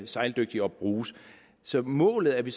sejldygtige og bruges så målet er vi